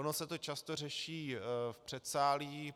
Ono se to často řeší v předsálí.